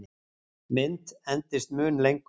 Mynt endist mun lengur.